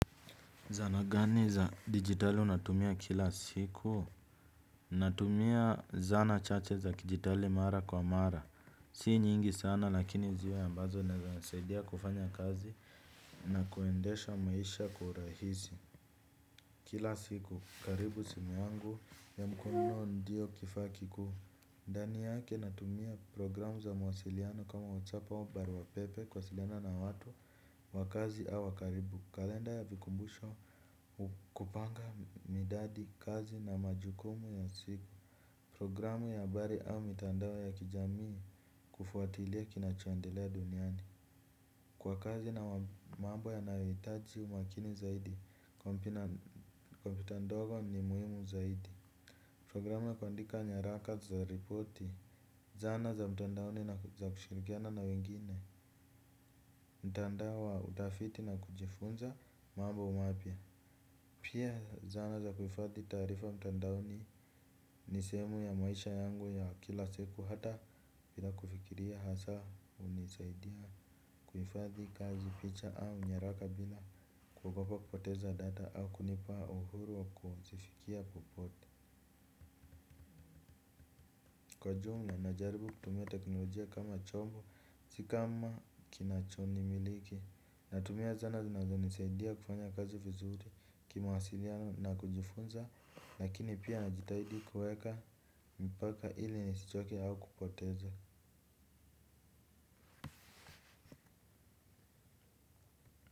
Zana gani za digitali unatumia kila siku? Natumia zana chache za kijitali mara kwa mara. Si nyingi sana lakini ziwe ambazo zinaweza nisaidia kufanya kazi na kuendesha maisha kwa urahisi. Kila siku, karibu simu yangu ya mkono ndiyo kifaa kikuu. Ndani yake natumia programu za mawasiliano kama WHATSAPP ama barua pepe kuwasiliana na watu wa kazi au wa karibu. Kalenda ya vikumbusho kupanga midadi, kazi na majukumu ya siku. Programu ya habari au mitandao ya kijamii kufuatilia kinacho endelea duniani. Kwa kazi na mambo yanayo hitaji umakini zaidi, kompyuta ndogo ni muhimu zaidi. Programu ya kuandika nyaraka za ripoti, zana za mitandaoni na za kushirikiana na wengine. Mitandao wa utafiti na kujifunza mambo mapya. Pia zana za kuhifadhi taarifa mtandaoni ni sehemu ya maisha yangu ya kila siku hata bila kufikiria hasa hunisaidia kuhifadhi kazi picha au nyaraka bila kuogopa kupoteza data au kunipa uhuru wa kuzifikia popote. Kwa jumla, najaribu kutumia teknolojia kama chombo, si kama kinachonimiliki. Natumia zana zinazo nisaidia kufanya kazi vizuri kimawasiliano na kujifunza lakini pia najitahidi kuweka mipaka ili nisichoke au kupoteza.